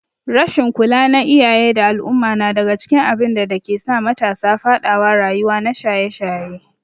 rasshin kula na iyaye da al umma nadaga cikin abinda dakesa matasa fadawa rayuwa na shaye shaye